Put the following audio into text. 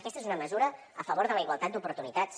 aquesta és una mesura a favor de la igualtat d’oportunitats